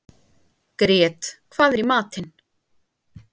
Grét, hvað er í matinn?